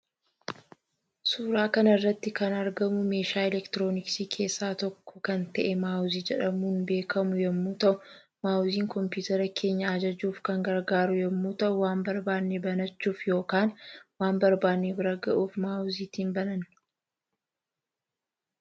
Suuraa kanarratti kan argamu meeshaa elektirooniksii keessaa tokko kan ta'ee maawozii jedhamuun beekamu yommuu ta'uu maawoziin compiitera keenya ajajuuf kan gargaaru yommuu ta'u waan barbaanne banachuuf yookaan waan barbaanne bira ga'uuf mawoziitiin bananna.